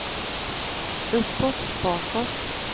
uppåt bakåt